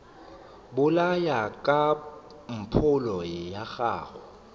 bolaya ka mpholo wa go